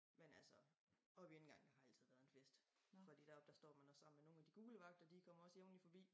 Men altså oppe i indgangen har altid været en fest fordi deroppe så står man også sammen med nogen af de gule vagter de kommer også jævnligt forbi